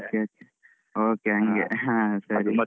Okay okay okay ಹಂಗೆ ಹಾ ಸರಿ.